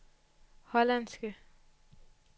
hollandske